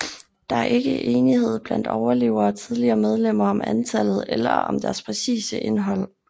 Der er ikke enighed blandt overlevere og tidligere medlemmer om antallet eller om deres præcise indhold